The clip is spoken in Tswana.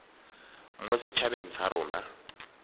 mo set habeng sa rona